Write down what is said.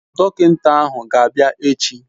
Dọkịnta ahụ ga-abịa echi.